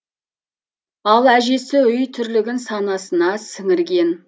ал әжесі үй тірлігін санасына сіңірген